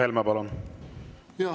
Mart Helme, palun!